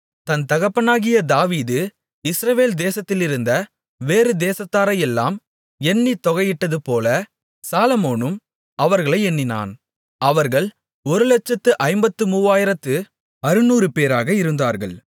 தன் தகப்பனாகிய தாவீது இஸ்ரவேல் தேசத்திலிருந்த வேறு தேசத்தாரையெல்லாம் எண்ணித் தொகையிட்டதுபோல சாலொமோனும் அவர்களை எண்ணினான் அவர்கள் ஒருலட்சத்து ஐம்பத்துமூவாயிரத்து அறுநூறுபேராக இருந்தார்கள்